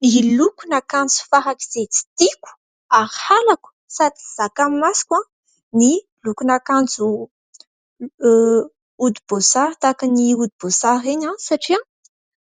Ny lokon'akanjo farak'izay tsy tiako ary halako sady tsy zakan'ny masoko ny lokon'akanjo hodim-boasary, tahaka ny hodim-boasary ireny satria